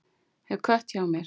Hef kött hjá mér.